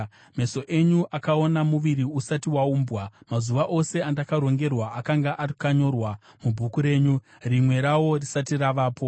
meso enyu akaona muviri usati waumbwa. Mazuva ose andakarongerwa akanga akanyorwa mubhuku renyu, rimwe rawo risati ravapo.